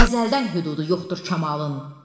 Əzəldən hüdudu yoxdur kamalın.